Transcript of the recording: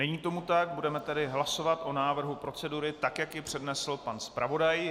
Není tomu tak, budeme tedy hlasovat o návrhu procedury, tak jak ji přednesl pan zpravodaj.